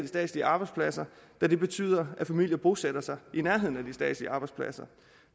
statslige arbejdspladser da det betyder at familier bosætter sig i nærheden af de statslige arbejdspladser